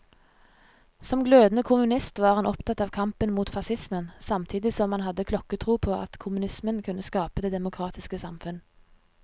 Som glødende kommunist var han opptatt av kampen mot facismen, samtidig som han hadde klokketro på at kommunismen kunne skape det demokratiske samfunn.